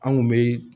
An kun be